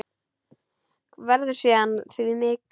Verður síðar að því vikið.